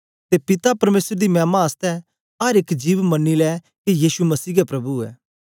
ते पिता परमेसर दी मैमा आसतै अर एक जिभ मन्नी लै के यीशु मसीह गै प्रभु ऐ